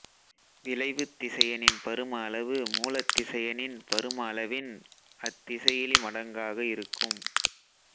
விளைவுத் திசையனின் பரும அளவு மூலத்திசையனின் பரும அளவின் அத்திசையிலி மடங்காக இருக்கும்